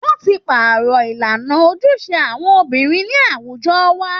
Wọ́n ti pàrọ̀ ìlànà ojúṣe àwọn obìnrin ní àwùjọ wa